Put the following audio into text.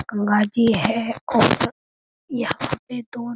गंगा जी है और यहाँ पे दो --